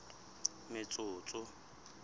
metsotso